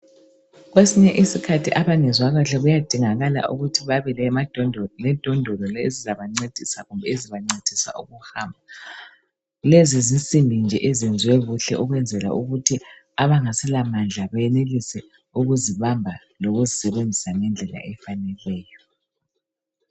Kwesinye isikhathi abangezwa kahle kuyadingeka ukuthi babe lendondolo ezizabancedisa kumbe ezibancedisa ukuhamba. Lezi zinsimbi nje ezenziwe kuhle ukwenzela ukuthi abangaselamandla benelise ukuzibamba lokuzisebenzisa ngendlela efaneleyo.